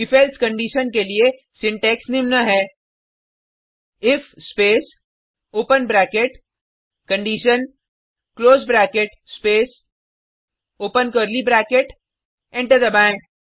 if else condition के लिए syntax निम्न है if space open bracket condition close bracket space open curly bracket enter दबाएँ